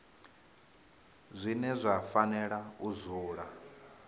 zwine zwa fanela u dzula